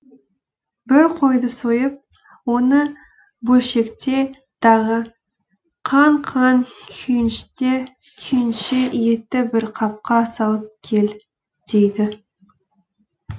бір қойды сойып оны бөлшекте дағы қан қан күйінше етті бір қапқа салып кел дейді